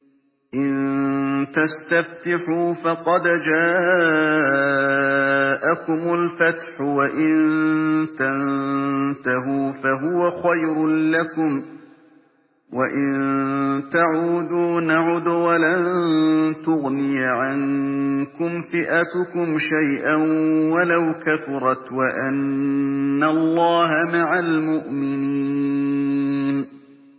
إِن تَسْتَفْتِحُوا فَقَدْ جَاءَكُمُ الْفَتْحُ ۖ وَإِن تَنتَهُوا فَهُوَ خَيْرٌ لَّكُمْ ۖ وَإِن تَعُودُوا نَعُدْ وَلَن تُغْنِيَ عَنكُمْ فِئَتُكُمْ شَيْئًا وَلَوْ كَثُرَتْ وَأَنَّ اللَّهَ مَعَ الْمُؤْمِنِينَ